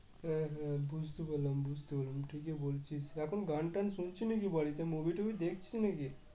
হ্যাঁ হ্যাঁ বুঝতে পারলাম বুঝতে পারলাম ঠিকই বলছিস এখন গানটান চলছে নাকি বাড়িতে movie টুভি দেখছিস নাকি?